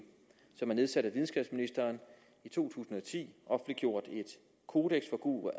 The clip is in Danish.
som er nedsat af videnskabsministeren i to tusind og ti offentliggjort en kodeks for god